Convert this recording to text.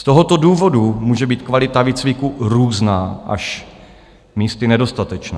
Z tohoto důvodu může být kvalita výcviku různá, místy až nedostatečná.